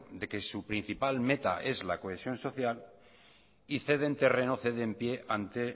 de que su principal meta es la cohesión social y ceden terreno ceden pie ante